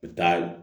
U bɛ taa